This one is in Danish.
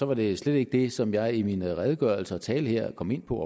var det slet ikke det som jeg i min redegørelse og tale her kom ind på